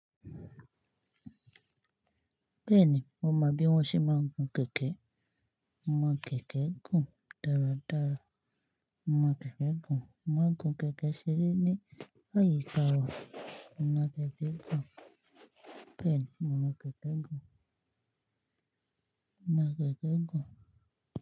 Bẹ́ẹ̀ni, mo mọ bí wọ́n ṣe máa ń gun kẹ̀kẹ́. Mo máa ń gun kẹ̀kẹ́ gùn dáradára. Mo mo kẹ̀kẹ́ gùn. Mo máa ń gun kẹ̀kẹ́ ṣere ní àyíká wa. Mo mo kẹ̀kẹ́ gùn. Bẹ́ẹ̀ni, mo mọ kẹ̀kẹ́ gùn. Mo máa ń gun kẹ̀kẹ́ gùn.